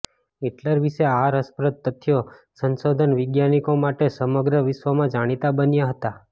Hitler વિશે આ રસપ્રદ તથ્યો સંશોધન વૈજ્ઞાનિકો માટે સમગ્ર વિશ્વમાં જાણીતા બન્યા હતા